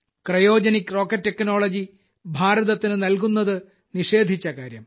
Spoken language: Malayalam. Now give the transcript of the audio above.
ക്രയോജനിക് റോക്കറ്റ് ടെക്നോളജി ഭാരതത്തിനു നല്കുന്നതു നിഷേധിച്ച കാര്യം